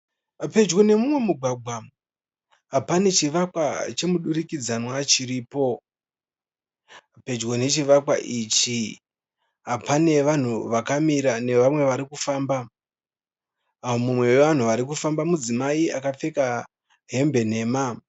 Pedyo neumwe mugwagwa pane chivakwa chomudurikidzanwa chiripo. Pedyo nechivakwa ichi pane vanhu vakamira nevamwe varikufamba. Mumwe wevanhu varikufamba mudzimai akapfeka hembe nhema.